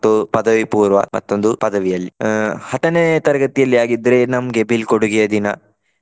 ಮತ್ತು ಪದವಿಪೂರ್ವ ಮತ್ತೊಂದು ಪದವಿಯಲ್ಲಿ. ಅಹ್ ಹತ್ತನೇ ತರಗತಿಯಲ್ಲಿ ಆಗಿದ್ರೆ ನಮ್ಗೆ ಬೀಳ್ಕೊಡುಗೆಯ ದಿನ.